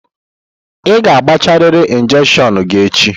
Ị ga-agbachariri injekshion gị echi!